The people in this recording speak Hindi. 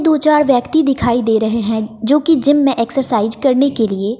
दो चार व्यक्ति दिखाई दे रहे हैं जो कि जिम में एक्सरसाइज करने के लिए--